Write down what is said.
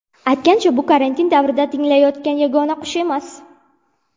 Aytgancha, bu karantin davrida tinglanayotgan yagona qush emas.